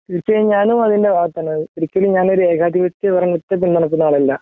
തീർച്ചയായും ഞാനും അതിന്റെ ഭാഗത്താണ് ഒരിക്കലും ഞാനോര് ഏകാധിപത്യ പരം ആളല്ല